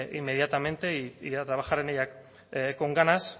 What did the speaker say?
inmediatamente a trabajar en ella con ganas